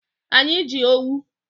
Anyị ji owu.